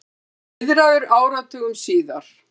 Heiðraður áratugum síðar